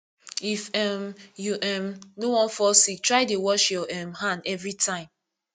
if um you um no wan fall sick try dey wash your um hand every time